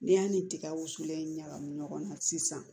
N'i y'a ni ni tiga wusulen ɲagami ɲɔgɔn na sisan